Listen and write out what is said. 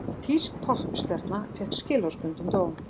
Þýsk poppstjarna fékk skilorðsbundinn dóm